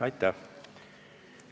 Aitäh!